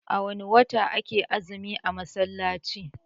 A wanne wata ake yin azumi a musulunci?